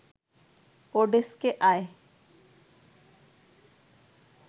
ওডেস্কে আয়